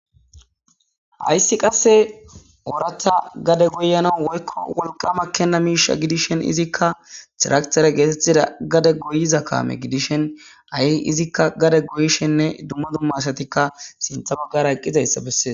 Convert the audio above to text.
hayssi qasse orata gade goyana woykko wolqama kenna miisha gidishen izikka tiraqtere geetettida gade goyiza kaame gidishen ai izikka gade goyishenne dumma dumma asatikka sintha baggara eqqizayssa bessee